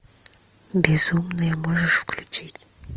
безумные можешь включить